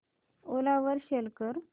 ओला वर सेल कर